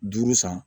Duuru san